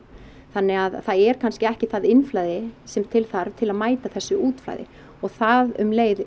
þannig það er kannski ekki það innflæði sem til þarf til að mæta þessu útflæði og það um leið